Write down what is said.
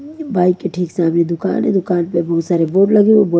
bike के ठीक सामने दुकान हैं दुकान पे बहुत सारे बोर्ड लगे हो बोर्ड --